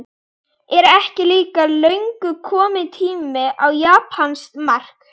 Er ekki líka löngu kominn tími á japanskt mark?